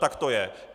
Tak to je.